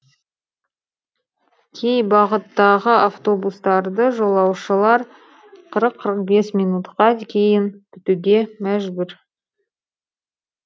кей бағыттағы автобустарды жолаушылар қырық қырық бес минутқа кейін күтуге мәжбүр